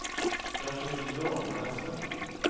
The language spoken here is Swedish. Kanske inte idag, men nästa gång.